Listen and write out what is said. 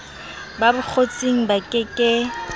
ba bokgotsing ba ke ke